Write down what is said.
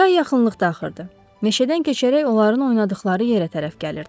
Çay yaxınlıqda axırdı, meşədən keçərək onların oynadıqları yerə tərəf gəlirdi.